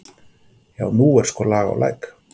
Já, nú er sko lag á Læk.